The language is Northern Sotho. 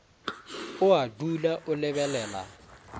o a dula o lebelela